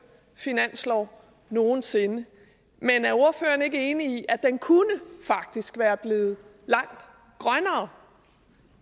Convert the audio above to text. finanslov nogen sinde men er ordføreren ikke enig i at den faktisk kunne være blevet langt grønnere